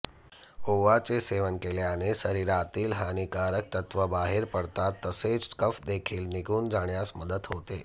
ओवाचे सेवन केल्याने शरीरातील हानिकारक तत्व बाहेर पडतात तसेच कफ देखील निघून जाण्यास मदत होते